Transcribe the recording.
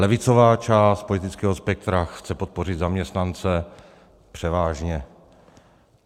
Levicová část politického spektra chce podpořit zaměstnance - převážně.